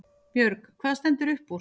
Björg: Hvað stendur upp úr?